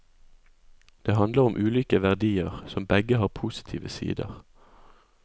Det handler om ulike verdier, som begge har positive sider.